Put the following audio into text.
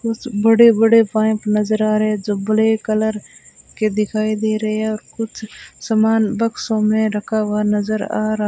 उस बड़े बड़े पाइप नजर आ रहें जो ब्लैक कलर के दिखाई दे रहे हैं और कुछ सामान बक्सों में रखा हुआ नजर आ रहा --